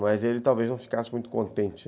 Mas ele talvez não ficasse muito contente.